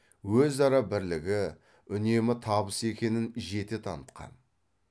өзара бірлігі үнемі табыс екенін жете танытқан